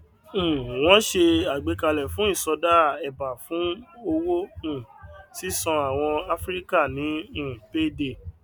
um wọn ṣe àgbékalẹ fún ìsọdá ẹbá fún owó um sísan àwọn afíríkà ní um payday